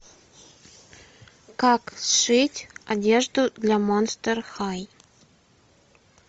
как сшить одежду для монстер хай